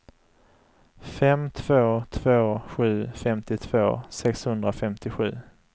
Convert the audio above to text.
fem två två sju femtiotvå sexhundrafemtiosju